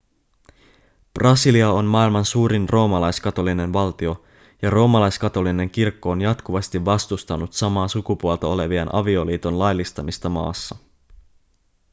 brasilia on maailman suurin roomalaiskatolinen valtio ja roomalaiskatolinen kirkko on jatkuvasti vastustanut samaa sukupuolta olevien avioliiton laillistamista maassa